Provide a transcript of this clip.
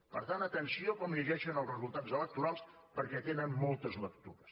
per tant atenció com llegeixen els resultats electorals perquè tenen moltes lectures